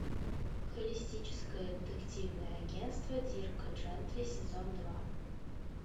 холистическое детективное агентство дирка джентли сезон два